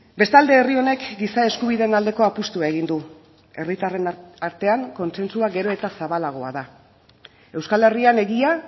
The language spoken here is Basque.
bestalde herri honek giza eskubideen aldeko apustua egin du herritarren artean kontsentsua gero eta zabalagoa da euskal herrian egia